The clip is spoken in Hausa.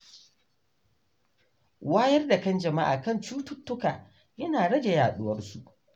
Wayar da kan jama’a kan cututtuka yana rage yaduwar su.